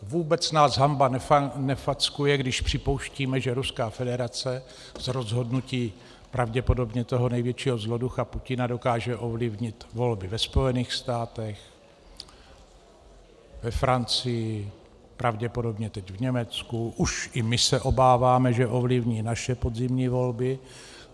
Vůbec nás hanba nefackuje, když připouštíme, že Ruská federace z rozhodnutí pravděpodobně toho největšího zloducha Putina dokáže ovlivnit volby ve Spojených státech, ve Francii, pravděpodobně teď v Německu, už i my se obáváme, že ovlivní naše podzimní volby.